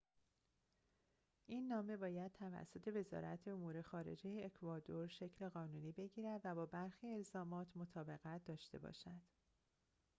این نامه باید توسط وزارت امور خارجه اکوادور شکل قانونی بگیرد و با برخی الزامات مطابقت داشته باشد